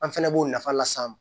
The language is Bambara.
An fɛnɛ b'o nafa las'an ma